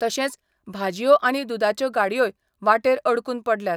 तशेंच भाजयो आनी दुदाच्यो गाडयोय वाटेर अडकून पडल्यात.